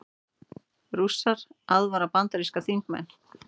Rússar aðvara bandaríska þingmenn